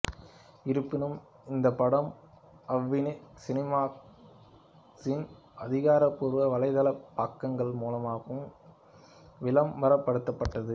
இருப்பினும் இந்த படம் அவ்னி சினிமாக்ஸின் அதிகாரப்பூர்வ வலைதளப் பக்கங்கள் மூலமாகவும் விளம்பரப்படுத்தப்பட்டது